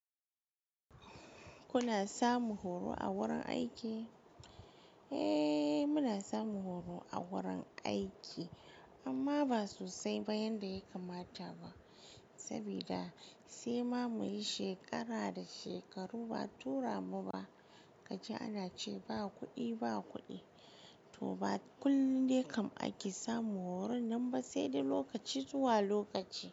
Kuna samun horo a wurin aiki? Eh, muna samun horo a wurin aiki amma ba sosai ba yanda ya kamata ba. Sabida sai ma muyi shekara da shekaru ba a tura mu ba. Kaji ana ce ba kuɗi, ba kuɗi. To ba kullum ne kam ake samun horo nan ba sai da lokaci zuwa lokaci.